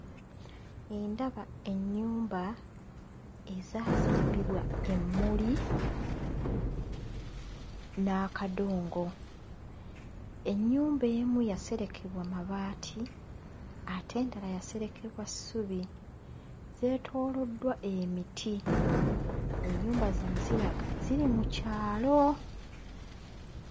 Ndaba ennyumba ezaazimbibwa emmuli n'akadongo. Ennyumba emu yaserekebwa mabaati ate endala yaserekebwa ssubi, zeetooloddwa emiti; ennyumba zino ziraga ziri mu kyalo.